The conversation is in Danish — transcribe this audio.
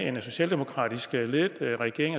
en socialdemokratisk ledet regering